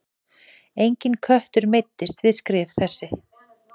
Enginn köttur meiddist við skrif þessi.